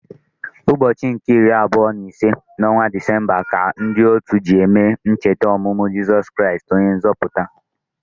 Ụbọchị nke iri abụọ na ise n’ọnwa Disemba ka ndị otu ji eme ncheta ọmụmụ Jeso Kristi, onye nzọpụta.